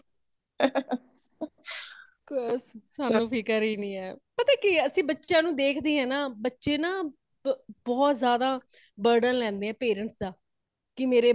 ਹਾਂਹਾਂ ਉਹ ਸਾਨੂ ਫਿਕਰ ਹੀਂ ਨਹੀਂ ਹੈ | ਪਤਾ ਕੀ ਹੇ ਅਸੀ ਬੱਚਿਆਂ ਨੂੰ ਦੇਖਦੇ ਆ ਨਾ ,ਬਚੇ ਨਾ ਬਹੁਤ ਜ਼ਿਆਦਾ burden ਲੈਂਦੇ ਹੈ parents ਦਾ ਕੀ ਮੇਰੇ